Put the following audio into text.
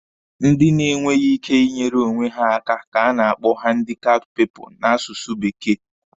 Ndị na-enweghi ike ị nyeere onwe ha aka ka a na-akpọ handikapt piipụlụ n'asụsụ bekee.